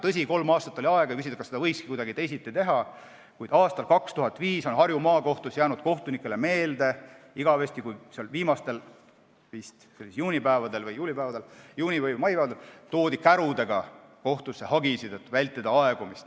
Tõsi, oli kolm aastat aega ja võib küsida, kas seda võiski kuidagi teisiti teha, kuid aasta 2005 on Harju Maakohtus jäänud kohtunikele meelde sellega, et tähtaja viimastel päevadel toodi kohtusse hagisid kärudega, et vältida aegumist.